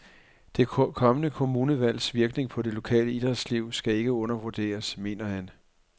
Det kommende kommunalvalgs virkning på det lokale idrætsliv skal ikke undervurderes, mener han.